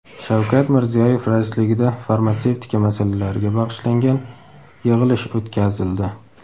Shavkat Mirziyoyev raisligida farmatsevtika masalalariga bag‘ishlangan yig‘ilish o‘tkazildi.